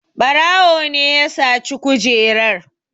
Ɓarawo ne ya saci kujerar.